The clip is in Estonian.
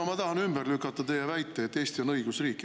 No ma tahan ümber lükata teie väite, et Eesti on õigusriik.